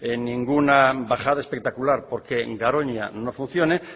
ninguna bajada espectacular porque garoña no funcione